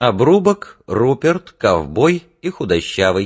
обрубок руперт ковбой и худощавый